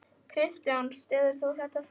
Kristján: Styður þú þetta val hans?